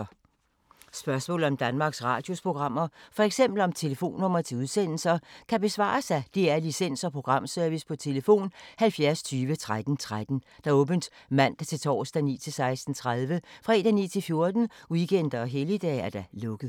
Spørgsmål om Danmarks Radios programmer, f.eks. om telefonnumre til udsendelser, kan besvares af DR Licens- og Programservice: tlf. 70 20 13 13, åbent mandag-torsdag 9.00-16.30, fredag 9.00-14.00, weekender og helligdage: lukket.